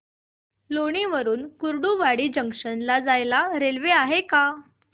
लोणी वरून कुर्डुवाडी जंक्शन ला जायला रेल्वे आहे का